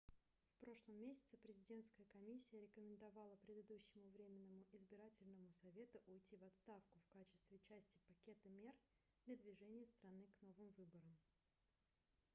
в прошлом месяце президентская комиссия рекомендовала предыдущему временному избирательному совету уйти в отставку в качестве части пакета мер для движения страны к новым выборам